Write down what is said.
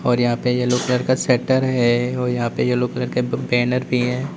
और यहां पे येलो कलर का शटर है और यहां पे येलो कलर का बैनर भी है।